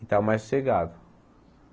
Está mais sossegado.